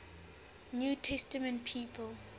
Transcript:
new testament people